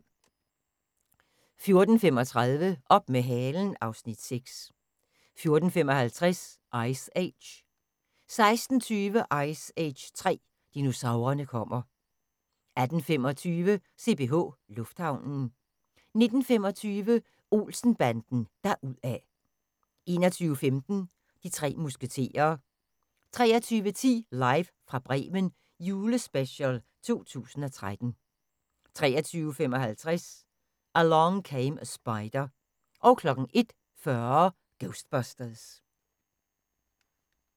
14:35: Op med halen (Afs. 6) 14:55: Ice Age 16:20: Ice Age 3: Dinosaurerne kommer 18:25: CPH Lufthavnen 19:25: Olsen-banden deruda' 21:15: De tre musketerer 23:10: Live fra Bremen – julespecial 2013 23:55: Along Came a Spider 01:40: Ghostbusters